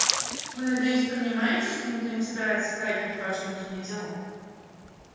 вы надеюсь понимаете что никто не собирается затрагивать ваши внутренние дела